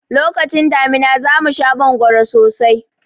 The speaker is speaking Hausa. Lokacin damina za mu sha mangoro sosai.